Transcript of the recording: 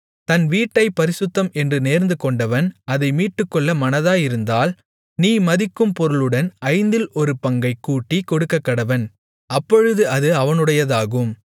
தன் வீட்டைப் பரிசுத்தம் என்று நேர்ந்துகொண்டவன் அதை மீட்டுக்கொள்ள மனதாயிருந்தால் நீ மதிக்கும் பொருளுடன் ஐந்தில் ஒரு பங்கைக் கூட்டிக் கொடுக்கக்கடவன் அப்பொழுது அது அவனுடையதாகும்